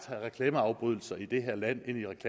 reklameafbrydelser i det her land